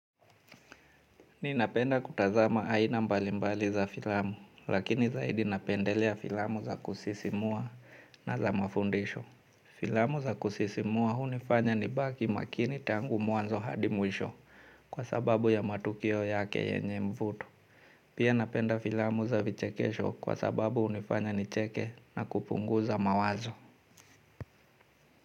Ninapenda kutazama aina mbalimbali za filamu, lakini zaidi napendelea filamu za kusisimua na za mafundisho. Filamu za kusisimua hunifanya nibaki makini tangu mwanzo hadi mwisho kwa sababu ya matukio yake yenye mvuto. Pia napenda filamu za vichekesho kwa sababu unifanya nicheke na kupunguza mawazo.